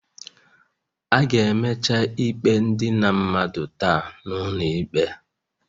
A ga-emecha ikpe idina mmadụ taa n'ụlọ ikpe